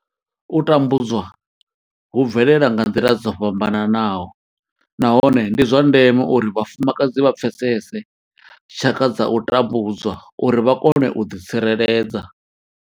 U tambudzwa hu bvelela nga nḓila dzo fhambanaho nahone ndi zwa ndeme uri vhafumakadzi vha pfesese tshaka dza u tambudzwa uri vha kone u ḓi tsireledza.